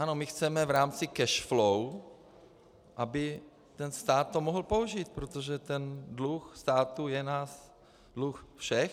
Ano, my chceme v rámci cash flow, aby ten stát to mohl použít, protože ten dluh státu je dluh nás všech.